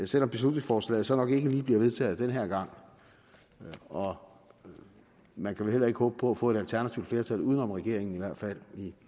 selv om beslutningsforslaget så nok ikke lige bliver vedtaget den her gang og man kan vel heller ikke håbe på at få et alternativt flertal uden om regeringen i hvert fald i